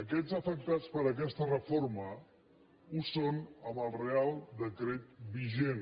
aquests afectats per aquesta reforma ho són amb el reial decret vigent